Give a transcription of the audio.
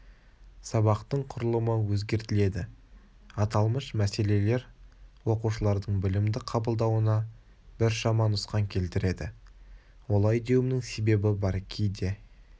сабақтың құрылымы өзгертіледі аталмыш мәселелер оқушылардың білімді қабылдауына біршама нұқсан келтіреді олай деуімнің себебі бар кейде